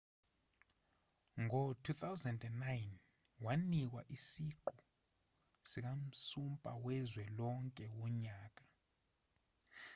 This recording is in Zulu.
ngo-2009 wanikwa isiqu sikansumpa wezwe lonke wonyaka